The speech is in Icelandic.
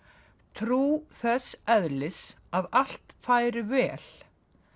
trú þess eðlis að allt færi vel